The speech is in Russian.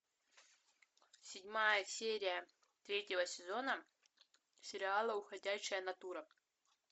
седьмая серия третьего сезона сериала уходящая натура